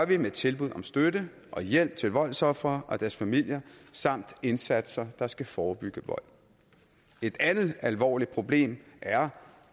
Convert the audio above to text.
vi med tilbud om støtte og hjælp til voldsofre og deres familier samt indsatser der skal forebygge vold et andet alvorligt problem er